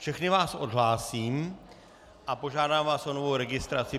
Všechny vás odhlásím a požádám vás o novou registraci.